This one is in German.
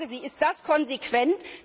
Ich frage Sie Ist das konsequent?